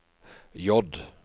J